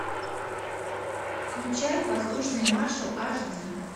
включай воздушный маршал аш ди